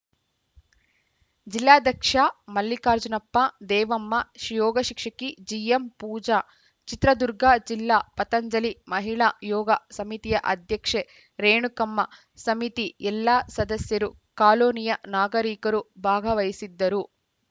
ಜಿಲ್ಲಾಧ್ಯಕ್ಷ ಮಲ್ಲಿಕಾರ್ಜುನಪ್ಪ ದೇವಮ್ಮ ಶಿಯೋಗ ಶಿಕ್ಷಕಿ ಜಿಎಂ ಪೂಜಾ ಚಿತ್ರದುರ್ಗ ಜಿಲ್ಲಾ ಪತಂಜಲಿ ಮಹಿಳಾ ಯೋಗ ಸಮಿತಿಯ ಅಧ್ಯಕ್ಷೆ ರೇಣುಕಮ್ಮ ಸಮಿತಿ ಎಲ್ಲ ಸದಸ್ಯರು ಕಾಲೋನಿಯ ನಾಗರಿಕರು ಭಾಗವಹಿಸಿದ್ದರು